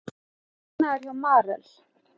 Hagnaður hjá Marel